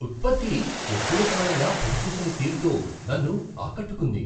ఉత్పత్తి ఎక్కువకాలంగా పని చేసిన తీరుతో నన్ను ఆకట్టుకుంది.